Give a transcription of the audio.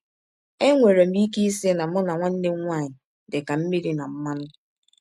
Enwere m ike ịsị na mụ na nwanne m nwaanyị dị ka mmịrị na mmanụ.